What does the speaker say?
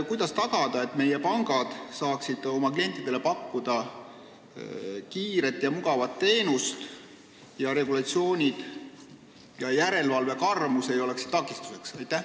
Kuidas tagada, et meie pangad saaksid pakkuda oma klientidele kiiret ja mugavat teenust ning regulatsioonid ja järelevalve karmus ei oleks takistuseks?